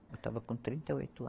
Eu estava com trinta e oito